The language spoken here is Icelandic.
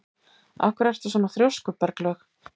Af hverju ertu svona þrjóskur, Berglaug?